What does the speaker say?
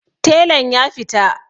Telan ya fita